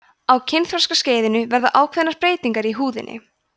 á kynþroskaskeiðinu verða ákveðnar breytingar í húðinni